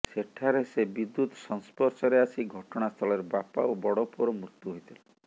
ସେଠାରେ ସେ ବିଦ୍ୟୁତ୍ ସଂସ୍ପର୍ଶରେ ଆସି ଘଟଣାସ୍ଥଳରେ ବାପା ଓ ବଡ଼ ପୁଅର ମୃତ୍ୟୁ ହୋଇଥିଲା